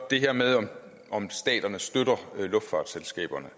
det her med at staterne støtter luftfartsselskaberne